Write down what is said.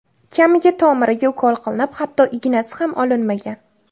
Kamiga tomiriga ukol qilinib, hatto ignasi ham olinmagan.